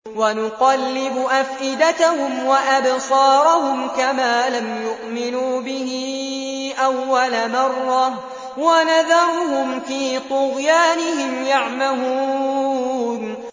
وَنُقَلِّبُ أَفْئِدَتَهُمْ وَأَبْصَارَهُمْ كَمَا لَمْ يُؤْمِنُوا بِهِ أَوَّلَ مَرَّةٍ وَنَذَرُهُمْ فِي طُغْيَانِهِمْ يَعْمَهُونَ